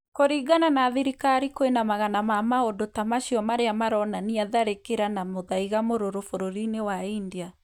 Kũrĩngana na thirikari kwĩna magana ma maũndũ ta macio marĩa maronania tharĩkĩra na mũthaiga mũrũrũ bũrũrĩ-inĩ wa India